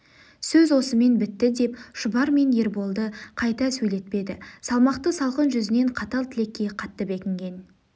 сөз осымен бітті деп шұбар мен ерболды қайта сейлетпеді салмақты салқын жүзінен қатал тілекке қатты бекінген